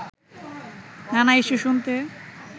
নানা ইস্যু শুনতে